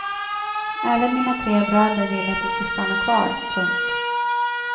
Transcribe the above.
Även mina tre bröder vill att du ska stanna kvar. punkt